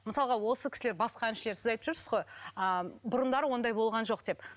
мысалға осы кісілер басқа әншілер сіз айтып жүрсіз ғой ыыы бұрындары ондай болған жоқ деп